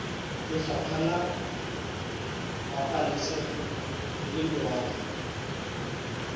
lefapha la pabalesego le loago